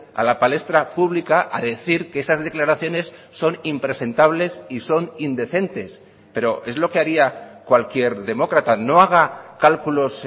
a la palestra pública a decir que esas declaraciones son impresentables y son indecentes pero es lo que haría cualquier demócrata no haga cálculos